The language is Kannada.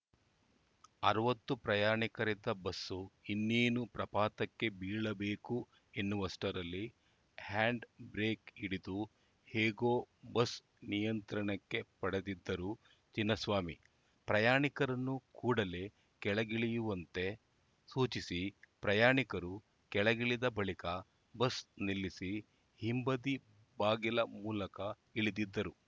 ಅರವತ್ತು ಪ್ರಯಾಣಿಕರಿದ್ದ ಬಸ್‌ ಇನ್ನೇನು ಪ್ರಪಾತಕ್ಕೆ ಬೀಳಬೇಕು ಎನ್ನುವಷ್ಟರಲ್ಲಿ ಹ್ಯಾಂಡ್‌ ಬ್ರೇಕ್‌ ಹಿಡಿದು ಹೇಗೋ ಬಸ್‌ ನಿಯಂತ್ರಣಕ್ಕೆ ಪಡೆದಿದ್ದರು ಚಿನ್ನಸ್ವಾಮಿ ಪ್ರಯಾಣಿಕರನ್ನು ಕೂಡಲೇ ಕೆಳಗಿಳಿಯುವಂತೆ ಸೂಚಿಸಿ ಪ್ರಯಾಣಿಕರು ಕೆಳಗಿಳಿದ ಬಳಿಕ ಬಸ್‌ ನಿಲ್ಲಿಸಿ ಹಿಂಬದಿ ಬಾಗಿಲ ಮೂಲಕ ಇಳಿದಿದ್ದರು